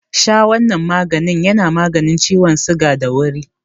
Sha wanan maganin yana maganin ciwon suga da wuri.